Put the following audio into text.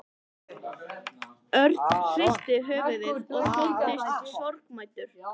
Örn hristi höfuðið og þóttist sorgmæddur.